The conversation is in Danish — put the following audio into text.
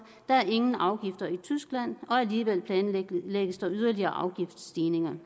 der er ingen afgifter i tyskland og alligevel planlægges der yderligere afgiftsstigninger